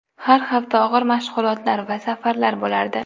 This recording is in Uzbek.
Har hafta og‘ir mashg‘ulotlar va safarlar bo‘lardi.